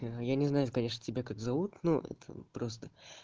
я не знаю конечно тебя как зовут ну это просто